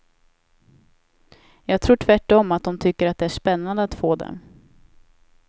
Jag tror tvärt om att de tycker att det är spännande att få dem.